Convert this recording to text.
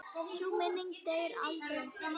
Sú minning deyr aldrei.